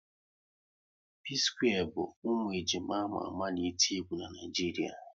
P-square bụ ụmụ ejima ama ama n'eti egwu n'Naijiria